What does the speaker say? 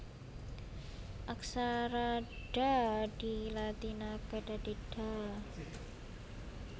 Aksara Dha dilatinaké dadi Dha